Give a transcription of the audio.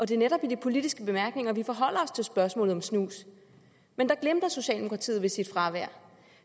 det er netop i de politiske bemærkninger vi forholder os til spørgsmålet om snus men der glimrer socialdemokratiet ved sit fravær